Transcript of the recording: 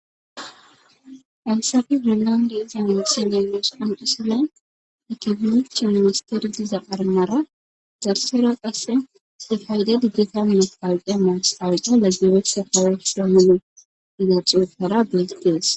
ansafi inlandi iza isineyneos aneselan ikifinochi ministeri diza qarnara zarsera qasse sifaydedi gitamye palqe maah awaco laggebeeth hawe hslomone diza xuufara beytees